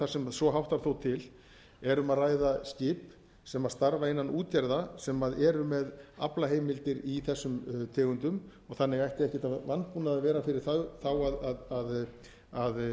sem svo háttar þó til er um að ræða skip sem starfa innan útgerða sem eru með aflaheimildir í þessum tegundum þannig ætti ekkert að vanbúnaði að vera fyrir þá að